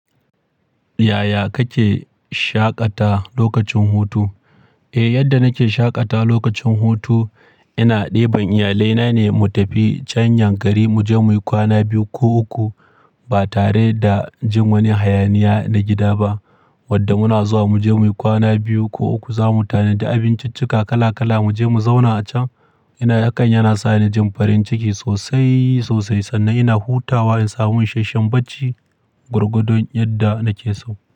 Yaya kake shaƙata lokacin hutu? Eh, yadda nake shaƙata lokacin hutu ina ɗeban iyalaina ne, mu tafi can yankari, muje muyi kwana biyu ko uku ba tare da jin wani hayaniya na gida ba. Wanda muna zuwa muje muyi kwana biyu ko uku, za mu tanadi abinciccika kala kala, muje mu zauna a can. Ina, hakan yana sa ni jin farin ciki sosai, sosai, sannan ina hutawa, in samu ishasshen bacci gwargwadon yadda nake so.